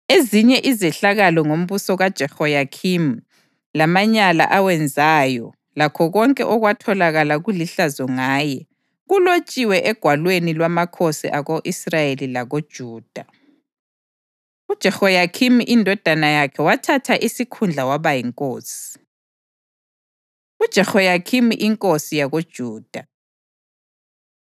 Ezinye izehlakalo ngombuso kaJehoyakhimi, lamanyala awenzayo lakho konke okwatholakala kulihlazo ngaye, kulotshiwe egwalweni lwamakhosi ako-Israyeli lakoJuda. UJehoyakhini indodana yakhe wathatha isikhundla waba yinkosi. UJehoyakhini Inkosi YakoJuda